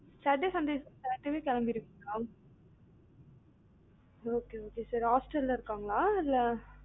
saturday Sunday saturday யே கிளம்பீருவிங்களா? okay okay sir hostel ல இருக்காங்களா இல்ல